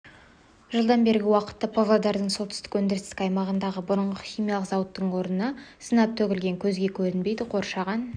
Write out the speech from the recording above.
жылдан бергі уақытта павлодардың солтүстік өндірістік аймағындағы бұрынғы химиялық зауыттың орнына сынап төгілген көзге көрінбейді қоршаған